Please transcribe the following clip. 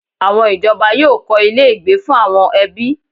Àwọn ìjọba yóò kọ́ ilé-ìgbé fún àwọn ẹbí.